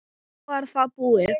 Þá var það búið.